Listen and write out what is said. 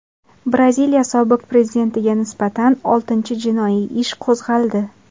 Braziliya sobiq prezidentiga nisbatan oltinchi jinoiy ish qo‘zg‘aldi.